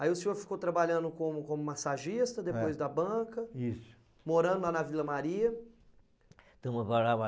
Aí o senhor ficou trabalhando como como massagista, é, depois da banca, isso, morando lá na Vila Maria. Então, eu morava